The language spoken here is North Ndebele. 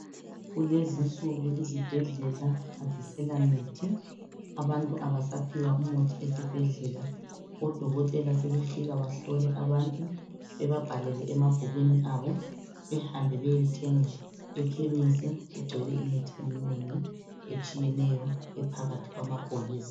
kulezinsuku izibhedlela azisela mithi abantu abasaphiwa umuthi esibhedlela odokotela sebefika bahlole abantu ebabhalele emabhukwini abo behambe beyethenga ekhemesi kugcwele imithi eminengi etshiyeneyo ephakathikwamabhokisi